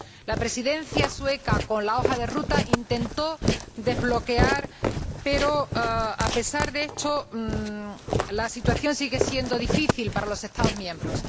La Presidencia sueca, con la hoja de ruta, intentó desbloquear el asunto, pero, a pesar de esto, la situación sigue siendo difícil para los Estados miembros.